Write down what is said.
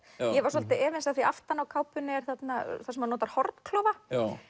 ég var svolítið efins af því aftan á kápunni er þarna þar sem hann notar hornklofa